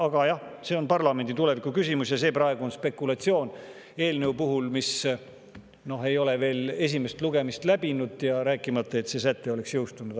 Aga jah, see on parlamendi tuleviku küsimus ja see on praegu spekulatsioon eelnõu kohta, mis ei ole veel esimest lugemist läbinud, rääkimata sellest, et see säte oleks jõustunud.